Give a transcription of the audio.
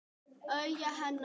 Augu hennar.